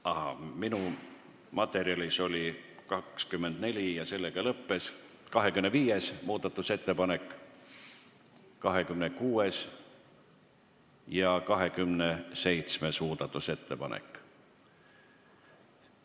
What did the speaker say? Ahaa, minu materjalis on muudatusettepanekuid vaid 24, aga on ka 25., 26. ja 27. muudatusettepanek.